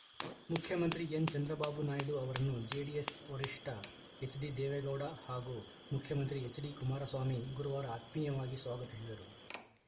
ಮುಖ್ಯಮಂತ್ರಿ ಎನ್‌ಚಂದ್ರಬಾಬು ನಾಯ್ಡು ಅವರನ್ನು ಜೆಡಿಎಸ್‌ ವರಿಷ್ಠ ಎಚ್‌ಡಿದೇವೇಗೌಡ ಹಾಗೂ ಮುಖ್ಯಮಂತ್ರಿ ಎಚ್‌ಡಿಕುಮಾರಸ್ವಾಮಿ ಗುರುವಾರ ಆತ್ಮೀಯವಾಗಿ ಸ್ವಾಗತಿಸಿದರು